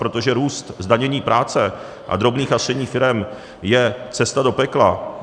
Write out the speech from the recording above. Protože růst zdanění práce a drobných a středních firem je cesta do pekla.